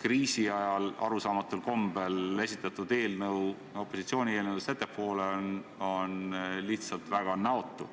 mille nad arusaamatul kombel kriisiajal esitasid, opositsiooni eelnõust ettepoole, lihtsalt väga näotu.